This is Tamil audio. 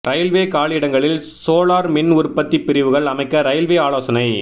ரயில்வே காலியிடங்களில் சோலார் மின் உற்பத்தி பிரிவுகள் அமைக்க ரயில்வே ஆலோசனை